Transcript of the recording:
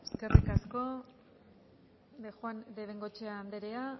eskerrik asko de bengoechea andrea